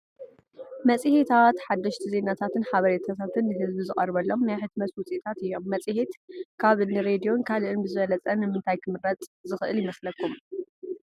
መፅሔታት ሓደሽቲ ዜናታትን ሓበሬታትን ንህዝቢ ዝቐርበሎም ናይ ሕትመት ውፅኢታት እዮም፡፡ መፅሔት ካብ እኒ ሬድዮን ካልእን ብዝበለፀ ንምንታይ ክምረፅ ዝኽእል ይመስለኩም?